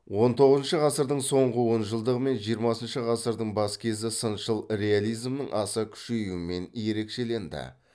он тоғызыншы ғасырдың соңғы онжылдығы мен жиырмасыншы ғасырдың бас кезі сыншыл реализмнің аса күшеюімен ерекшеленді